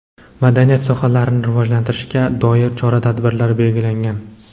madaniyat sohalarini rivojlantirishga doir chora-tadbirlar belgilangan.